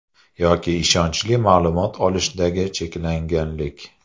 Yoki ishonchli ma’lumot olishdagi cheklanganlik.